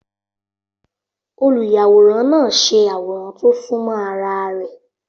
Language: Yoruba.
Olùyàwòrán náà ṣe àwòrán tó súnmọ́ ara rẹ̀.